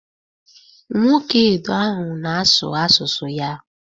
Nwoke Edo ahụ na-asụ asụsụ ya.